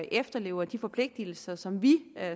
efterlever de forpligtelser som vi